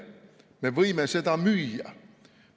Me võime seda müüa.